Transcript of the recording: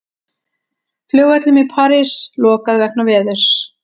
Flugvöllum í París lokað vegna veðurs